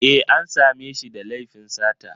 E, an sa me shi da laifin sata